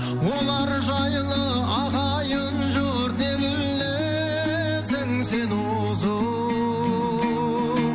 олар жайлы ағайын жұрт не білесің сен осы